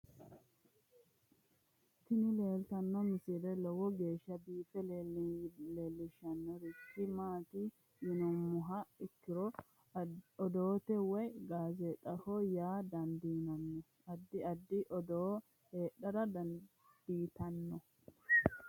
tini leeltanno misile lowo geeshsha biiffe leeellishshannorichi maati yinummoha ikkiro odoote woy gaazeexaho yaa dandiinanni addi addi odoo heedhara dandiitanno